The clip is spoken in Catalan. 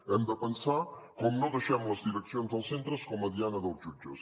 hem de pensar com no deixem les direccions dels centres com a diana dels jutges